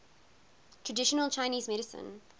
traditional chinese medicine